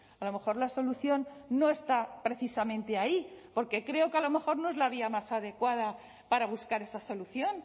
a lo mejor la solución no está precisamente ahí porque creo que a lo mejor no es la vía más adecuada para buscar esa solución